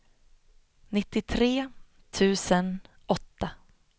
nittiotre tusen åtta